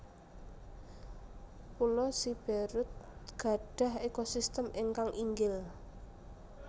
Pulo Siberut gadhah ekosistem ingkang inggil